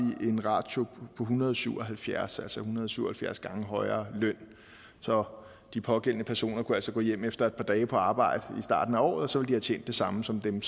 en ratio på en hundrede og syv og halvfjerds altså en hundrede og syv og halvfjerds gange højere løn så de pågældende personer kunne altså gå hjem efter et par dage på arbejde i starten af året og så ville tjent det samme som dem